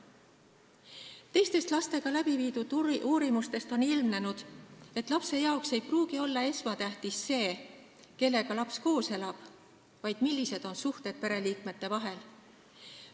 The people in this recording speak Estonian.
Teistest laste kohta tehtud uurimustest on ilmnenud, et lapsele ei pruugi olla esmatähtis see, kellega ta koos elab, vaid see, millised on pereliikmete suhted.